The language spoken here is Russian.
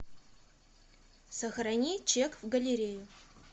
сохрани чек в галерею